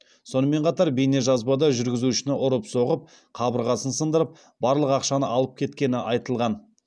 сонымен қатар бейнежазбада жүргізушіні ұрып соғып қабырғасын сындырып барлық ақшаны алып кеткені айтылған